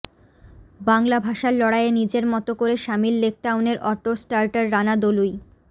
বাংলা ভাষার লড়াইয়ে নিজের মত করে সামিল লেকটাউনের অটো স্টার্টার রানা দলুই